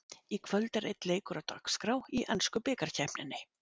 Í kvöld er einn leikur á dagskrá í ensku bikarkeppninni.